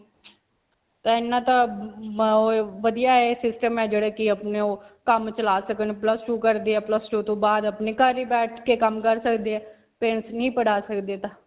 ਪਹਿਲਾਂ ਤਾਂ ਵਧੀਆ ਹੈ system ਹੈ ਜਿਹੜਾ ਕਿ ਅਪਨੇ ਓਹ ਕੰਮ ਚਲਾ ਸਕਣ ਤੋਂ ਬਾਅਦ ਅਪਨੇ ਘਰੇ ਬੈਠ ਕੇ ਕੰਮ ਕਰ ਸਕਦੇ ਹੈ .